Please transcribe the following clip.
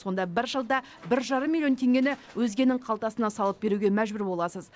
сонда бір жылда бір жарым миллион теңгені өзгенің қалтасына салып беруге мәжбүр боласыз